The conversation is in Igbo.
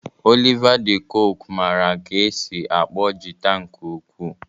Oliva de koque mara ka esi akpọ jịta nke ukwu.